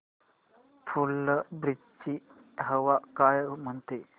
फुलंब्री ची हवा काय म्हणते